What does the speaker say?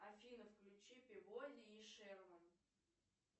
афина включи пибоди и шерман